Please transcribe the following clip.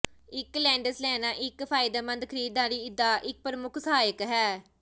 ਇੱਕ ਲੈਂਡਜ਼ ਲੈਣਾ ਇੱਕ ਫਾਇਦੇਮੰਦ ਖਰੀਦਦਾਰੀ ਦਾ ਇੱਕ ਪ੍ਰਮੁੱਖ ਸਹਾਇਕ ਹੈ